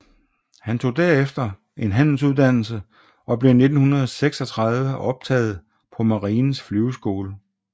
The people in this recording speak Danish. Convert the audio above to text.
Han tog derefter en handelsuddannelse og blev i 1936 optaget på Marinens Flyveskole